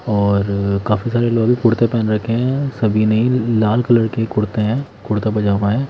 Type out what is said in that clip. और काफी सारे लोग कुर्ते पहन रखे हैं सभी नहीं लाल कलर के कुर्ते हैं कुर्ता पजामा है।